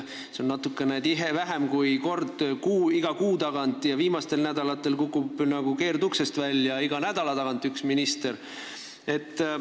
See on natuke tihe, vähem kui kord kuu tagant, ja viimasel ajal kukub nagu keerduksest välja iga nädala tagant üks minister.